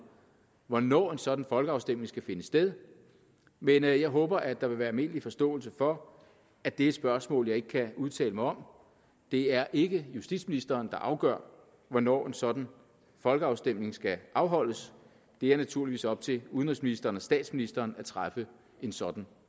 hvornår en sådan folkeafstemning skal finde sted men jeg jeg håber at der vil være almindelig forståelse for at det er et spørgsmål jeg ikke kan udtale mig om det er ikke justitsministeren der afgør hvornår en sådan folkeafstemning skal afholdes det er naturligvis op til udenrigsministeren og statsministeren at træffe en sådan